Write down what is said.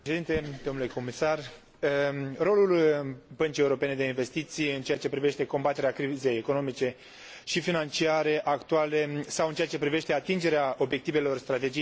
Rolul Băncii Europene de Investiții în ceea ce privește combaterea crizei economice și financiare actuale sau în ceea ce privește atingerea obiectivelor Strategiei 2020 este indiscutabil.